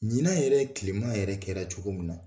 Ɲinan yɛrɛ tilema yɛrɛ kɛra cogo min na